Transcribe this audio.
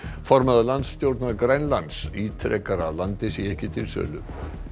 formaður landstjórnar Grænlands ítrekar að landið sé ekki til sölu